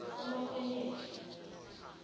umakhonyeja